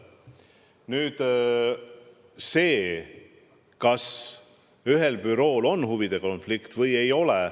Nüüd see, kas ühel bürool on huvide konflikt või ei ole.